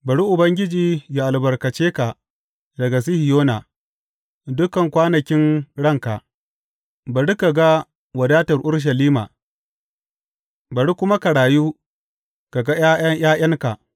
Bari Ubangiji ya albarkace ka daga Sihiyona dukan kwanakin ranka; bari ka ga wadatar Urushalima, bari kuma ka rayu ka ga ’ya’ya ’ya’yanka.